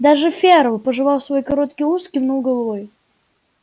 даже ферл пожевав свой короткий ус кивнул головой